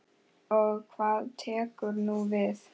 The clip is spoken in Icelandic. Og hvað tekur nú við?